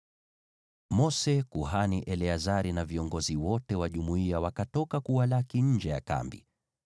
Mose, kuhani Eleazari na viongozi wote wa jumuiya wakatoka kuwalaki nje ya kambi.